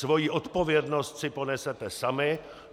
Svoji odpovědnost si ponesete sami.